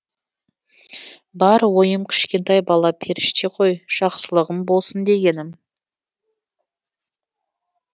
бар ойым кішкентай бала періште ғой жақсылығым болсын дегенім